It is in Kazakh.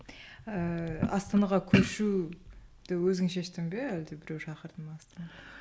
ыыы астанаға көшуді өзің шештің бе әлде біреу шақырды ма